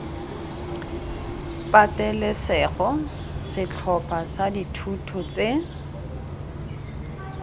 patelesego setlhopha sa dithuto tse